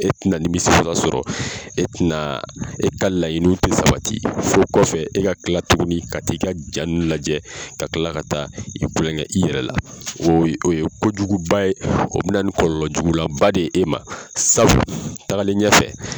E tɛ na nimisiwasa sɔrɔ e tɛ na e ka laɲiniw tɛ sabati fo kɔfɛ e ka kila tuguni ka t'i ka jaa ninnu lajɛ ka kila ka taa i kulonkɛ i yɛrɛ la o ye o ye kojugu ba ye o bɛ na ni kɔlɔlɔ jugulan ba de ye e ma sabu tagalen ɲɛfɛ